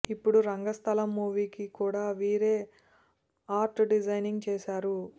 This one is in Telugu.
ఇప్పుడు రంగస్థలం మూవీకి కూడా వీరే ఆర్ట్ డిజైనింగ్ చేశారు